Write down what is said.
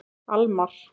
Almar